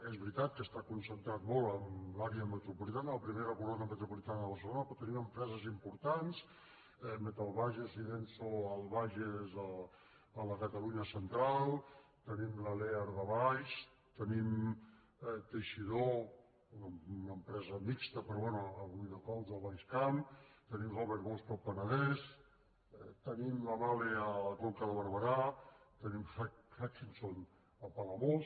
és veritat que està concentrat molt a l’àrea metropolitana la primera corona metropolitana de barcelona però tenim empreses importants metalbages i denso al bages a la catalunya central tenim la lear de valls tenim teixidó una empresa mixta però bé a riudecols al baix camp tenim robert bosch al penedès tenim la mahle a la conca de barberà tenim hutchinson a palamós